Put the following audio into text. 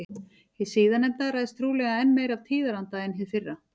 Hið síðarnefnda ræðst trúlega enn meira af tíðaranda en hið fyrra.